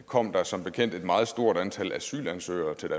kom der som bekendt et meget stort antal asylansøgere til